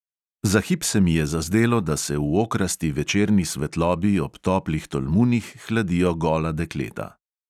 Za hip se mi je zazdelo, da se v okrasti večerni svetlobi ob toplih tolmunih hladijo gola dekleta.